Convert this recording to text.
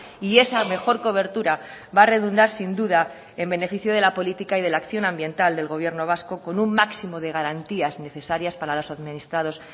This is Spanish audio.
y esa mejor cobertura va a redundar sin duda en beneficio de la política y de la acción ambiental del gobierno vasco con un máximo de garantías necesarias para los administrados